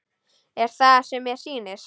Er það sem mér sýnist?